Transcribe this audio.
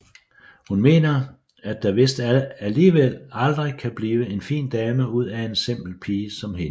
Hun mener at der vist alligevel aldrig kan blive en fin dame ud af en simpel pige som hende